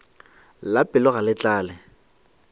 la pelo ga le tlale